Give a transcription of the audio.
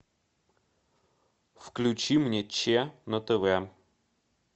включи мне че на тв